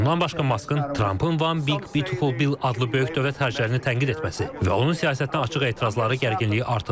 Bundan başqa Maskın Trampın One Big Beautiful Bill adlı böyük dövlət xərclərini tənqid etməsi və onun siyasətinə açıq etirazları gərginliyi artırır.